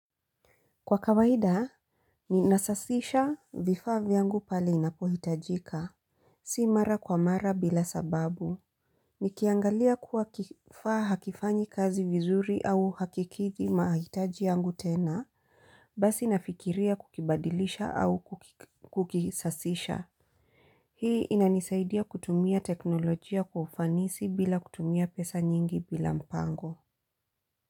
Kwa kawaida, ninasafisha vifaa vyangu pale inapohitajika. Si mara kwa mara bila sababu. Nikiangalia kuwa kifaa hakifanyi kazi vizuri au hakikidhi mahitaji yangu tena, basi nafikiria kukibadilisha au kukisasisha. Hii inanisaidia kutumia teknolojia kwa ufanisi bila kutumia pesa nyingi bila mpango.